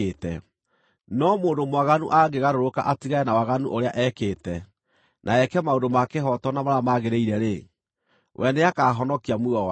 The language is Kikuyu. No mũndũ mwaganu angĩgarũrũka atigane na waganu ũrĩa ekĩte, na eke maũndũ ma kĩhooto na marĩa magĩrĩire-rĩ, we nĩakahonokia muoyo wake.